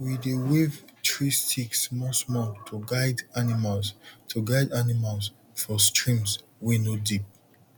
we dey wave tree stick small small to guide animals to guide animals for streams wey no deep